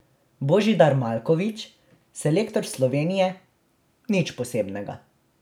Božidar Maljković, selektor Slovenije: 'Nič posebnega.